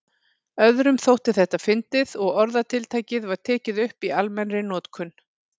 Öðrum þótti þetta fyndið og orðatiltækið var tekið upp í almennri notkun.